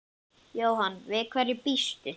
Jóhann: Við hverju býstu?